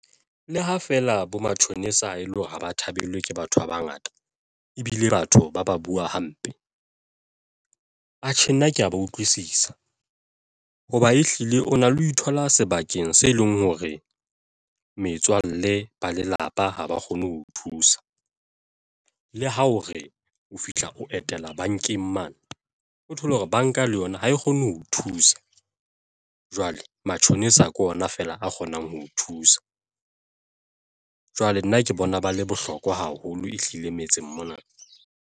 Le ha feela bo matjhonisa e le hore ha ba thabelwe ke batho ba bangata ebile batho ba ba bua hampe. Atjhe, nna ke ya ba utlwisisa hoba ehlile o na le ho ithola sebakeng se leng hore metswalle ba lelapa ha ba kgone ho thusa le ho hore o fihla o etela bankeng mane, o thole hore banka le yona ha e kgone ho thusa. Jwale matjhonisa ke ona fela a kgonang ho thusa. Jwale nna ke bona ba le bohlokwa haholo, ehlile metseng mona.